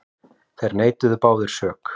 Þeir neituðu báðir sök.